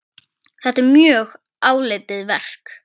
Þetta er mjög áleitið verk.